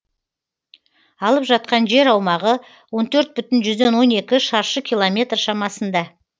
алып жатқан жер аумағы он төрт бүтін жүзден он екі шаршы километр шамасында